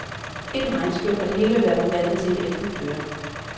Et regnskyl, og det hele ville være forvandlet til et æltet pløre.